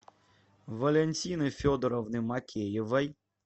валентины федоровны мокеевой